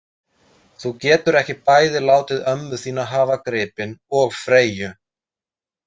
Þú getur ekki bæði látið ömmu þína hafa gripinn og Freyju